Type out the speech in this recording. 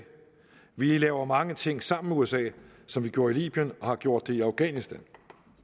vi laver mange ting sammen med usa som vi gjorde i libyen og har gjort det i afghanistan